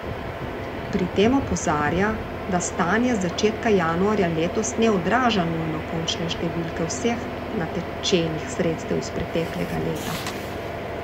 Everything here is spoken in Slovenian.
Pri tem opozarja, da stanje z začetka januarja letos ne odraža nujno končne številke vseh natečenih sredstev iz preteklega leta.